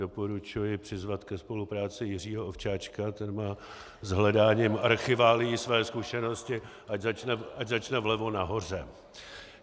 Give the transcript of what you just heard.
Doporučuji přizvat ke spolupráci Jiřího Ovčáčka, ten má s hledáním archiválií své zkušenosti, ať začne vlevo nahoře.